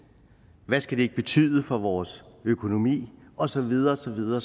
hvad skal det ikke betyde for vores økonomi og så videre og så videre